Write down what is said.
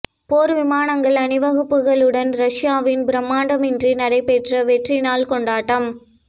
போர் விமானங்கள் அணிவகுப்புடன் ரஷ்யாவில் பிரம்மாண்டமின்றி நடைபெற்ற வெற்றி நாள் கொண்டாட்டம்